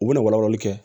U bɛ na wala walali kɛ